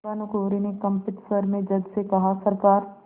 भानुकुँवरि ने कंपित स्वर में जज से कहासरकार